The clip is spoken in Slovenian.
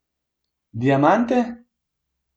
Diamante?